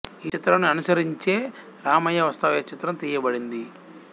ఈ చిత్రం ని అనుసరించే రామయ్య వస్తావయ్యా చిత్రం తీయబడింది